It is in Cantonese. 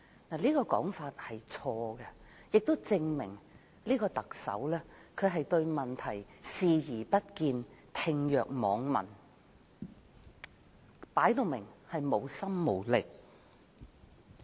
這種說法實屬錯誤，亦證明這位特首對問題視而不見、置若罔聞，明顯是無心無力。